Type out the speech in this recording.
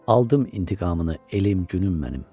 Aldım intiqamını elim, günüm mənim.